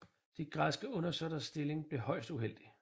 De græske undersåtters stilling blev højst uheldig